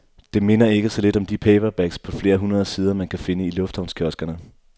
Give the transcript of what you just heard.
Det minder ikke så lidt om de paperbacks på flere hundrede sider, man kan finde i lufthavnskioskerne.